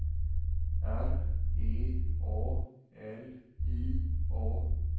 R E A L I A